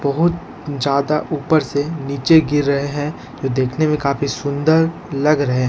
बहुत ज्यादा ऊपर से नीचे गिर रहे हैं जो देखने में काफी सुंदर लग रहे हैं।